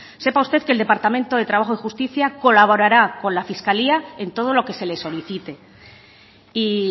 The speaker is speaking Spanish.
sepa usted que el departamento de trabajo y justicia colaborará con la fiscalía en todo lo que se le solicite y